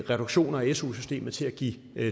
reduktioner i su systemet til at give